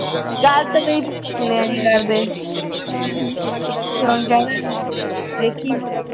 ਗੱਲ ਤਾਂ ਮੇਰੀ ਭਾਬੀ ਸੁਣਿਆ ਨੀ ਕਰਦੇ ਦੇਖੀਂ